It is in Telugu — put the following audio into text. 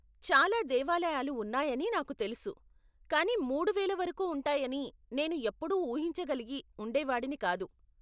చాలా దేవాలయాలు ఉన్నాయని నాకు తెలుసు కానీ మూడువేల వరకు ఉంటాయని నేను ఎప్పుడూ ఊహించగలిగి ఉండేవాడిని కాదు.